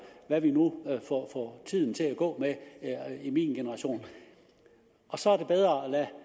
hvad vi nu får tiden til at gå med i min generation og så er det bedre